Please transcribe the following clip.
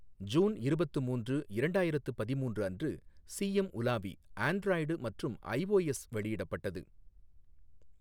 June இருபத்து மூன்று, இரண்டாயிரத்து பதிமூன்று அன்று சிஎம் உலாவி ஆண்ட்ராய்டு மற்றும் ஐஒஎஸ் வெளியிடப்பட்டது.